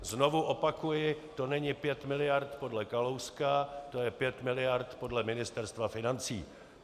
Znovu opakuji - to není pět miliard podle Kalouska, to je pět miliard podle Ministerstva financí.